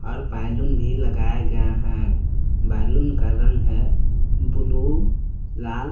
और बैलून भी लगाया गया है बैलून का रंग है ब्लू लाल।